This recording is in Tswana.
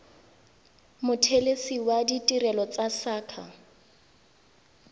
mothelesi wa ditirelo tsa saqa